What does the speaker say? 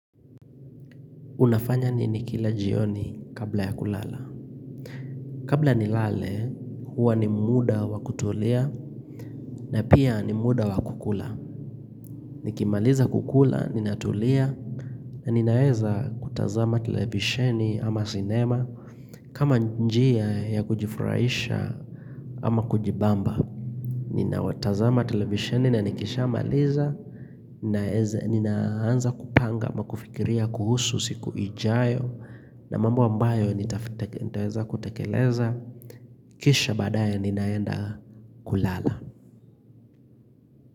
Unafanya nini kila jioni kabla ya kulala. Kabla ni lale, huwa ni muda wa kutulia na pia ni muda wa kukula. Nikimaliza kukula, ninatulia na ninaeza kutazama televisheni ama sinema kama njia ya kujifurahisha ama kujibamba. Nina watazama televisheni na nikisha maliza, ninaanza kupanga ama kufikiria kuhusu siku ijayo na mambo ambayo nitaweza kutekeleza Kisha baadaye ninaenda kulala.